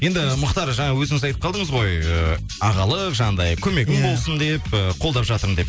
енді мұхтар жаңа өзіңіз айтып қалдыңыз ғой ыыы ағалық жаңағындай көмегім болсын деп ы қолдап жатырмын деп